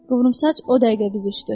Qıvrımsaç o dəqiqə büzüşdü.